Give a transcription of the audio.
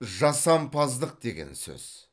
жасампаздық деген сөз